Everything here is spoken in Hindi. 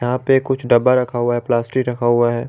यहां पे कुछ डब्बा रखा हुआ है प्लास्टिक रखा हुआ है।